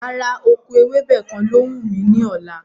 Rárá, oko ewébẹ̀ kàn ló wù mí ní ọ̀la